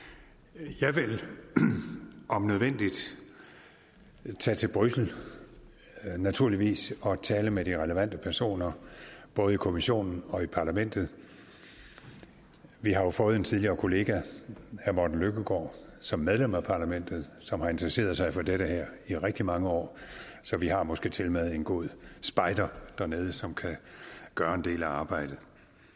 jeg vil om nødvendigt tage til bruxelles naturligvis og tale med de relevante personer både i kommissionen og i parlamentet vi har jo fået en tidligere kollega herre morten løkkegaard som medlem af parlamentet som har interesseret sig for det her i rigtig mange år så vi har måske tilmed en god spejder dernede som kan gøre en del af arbejdet